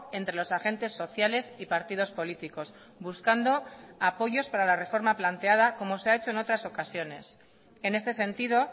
entre los agentes sociales y partidos políticos buscando apoyos para la reforma planteada como se ha hecho en otras ocasiones en este sentido